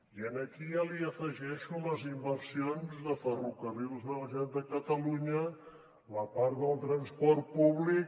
i aquí ja hi afegeixo les inversions de ferrocarrils de la generalitat de catalunya la part del transport públic